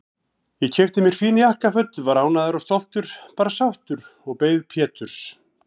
Ég keypti mér fín jakkaföt, var ánægður og stoltur, bara sáttur, og beið Péturs.